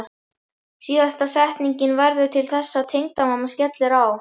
Síðasta setningin verður til þess að tengdamamma skellir á.